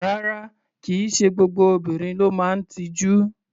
Rárá, kì í ṣe gbogbo obìnrin ló máa ń tijú.